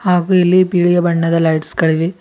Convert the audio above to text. ಹಾಗೂ ಇಲ್ಲಿ ಬಿಳಿಯ ಬಣ್ಣದ ಲೈಟ್ಸ್ ಗಳಿವೆ.